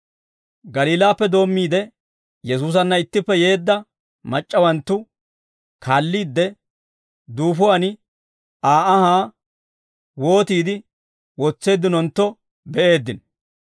Galiilaappe doommiide Yesuusanna ittippe yeedda mac'c'awanttu kaalliidde, duufuwaan Aa anhaa wootiide wotseeddinontto be'eeddino.